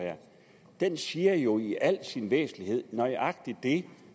den siger jo i al sin væsentlighed nøjagtig det